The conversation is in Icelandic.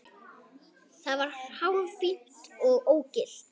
Það var hárfínt ógilt.